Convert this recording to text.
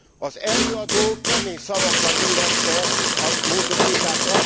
Az előadó kemény szavakkal illette a módosítást.